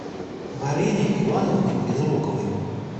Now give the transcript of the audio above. марине ивановне безруковой